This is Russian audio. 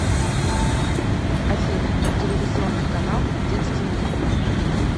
афина телевизионный канал детский мир